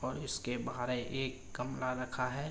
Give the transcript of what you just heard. और इसके बाहर एक गमला रखा है।